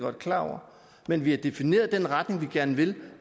er klar over men vi har defineret den retning vi gerne vil